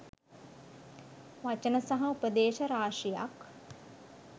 වචන සහ උපදේශ රාශියක්